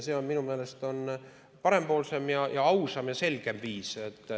See on minu meelest parempoolsem, ausam ja selgem viis.